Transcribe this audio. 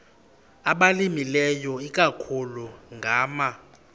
abalimileyo ikakhulu ngama